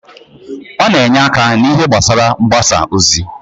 Ọ na-enye aka n'ihe gbasara mgbasa ozi.